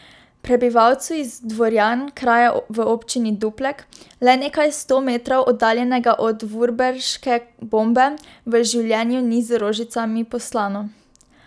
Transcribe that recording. Prebivalcu iz Dvorjan, kraja v občini Duplek, le nekaj sto metrov oddaljenega od vurberške bombe, v življenju ni z rožicami postlano.